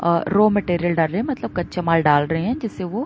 और raw material डाल रहे हैं मतलब कच्चे माल डाल रहे हैं जिससे वो --